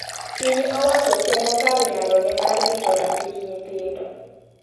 Piny owacho temo kar nyalo ne mar rito ratich nyithindo.